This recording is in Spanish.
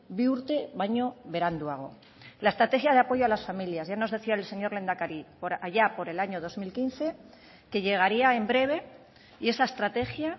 bi urte baino beranduago la estrategia de apoyo a las familias ya nos decía el señor lehendakari allá por el año dos mil quince que llegaría en breve y esa estrategia